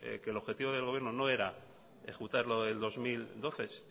que el objetivo del gobierno no era ejecutar lo del dos mil doce